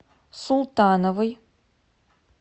султановой